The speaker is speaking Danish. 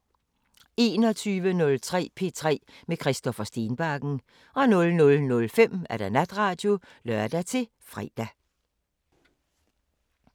21:03: P3 med Christoffer Stenbakken 00:05: Natradio (lør-fre)